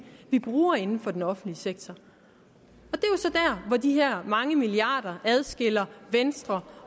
vi bruger inden for den offentlige sektor og de her mange milliarder adskiller venstre